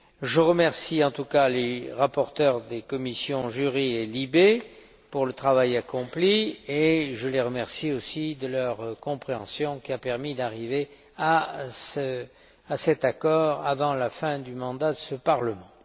Je remercie, en tout cas, les rapporteurs des commissions JURI et LIBE pour le travail accompli, et je les remercie aussi de leur compréhension, qui a permis de parvenir à cet accord avant la fin du mandat de ce Parlement.